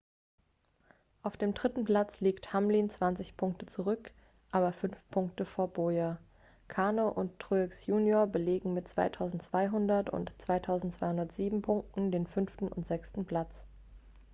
auf dem dritten platz liegt hamlin 20 punkte zurück aber 5 punkte vor bowyer kahne und truex junior belegen mit 2.200 und 2.207 punkten den fünften und sechsten platz